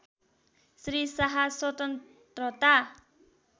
श्री शाह स्वतन्त्रता